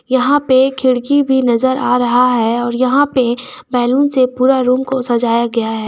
यहां पे खिड़की भी नजर आ रहा है और यहां पे बैलून से पूरा रूम को सजाया गया है।